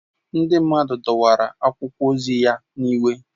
Ndị mmadụ dọwara akwụkwọ ozi ya n'iwe